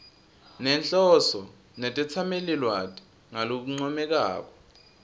nenhloso netetsamelilwati ngalokuncomekako